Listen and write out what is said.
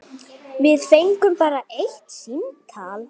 Við fengum bara eitt símtal.